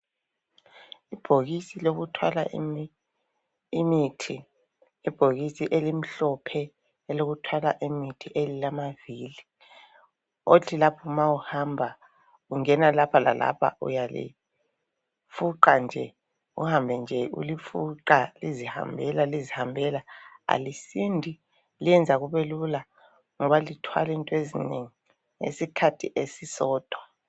Ibhokisi lokuthwala imithi , ibhokisi elimhlophe elokuthwala imithi elilamavili othi lapho ma uhamba ungena lapha lalapha uyalifuqa nje , uhambe nje ulifuqa lizihambela lizihambela alisindi , lenza kube lula ngoba lithwala into ezinengi ngesikhathi esisodwa